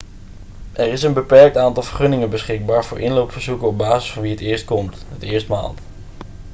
er is een beperkt aantal vergunningen beschikbaar voor inloopverzoeken op basis van wie het eerst komt het eerst maalt